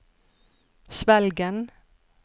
Svelgen